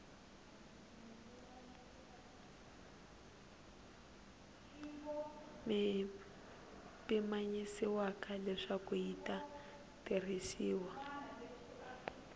pimanyisiwaka leswaku yi ta tirhisiwa